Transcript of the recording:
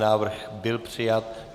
Návrh byl přijat.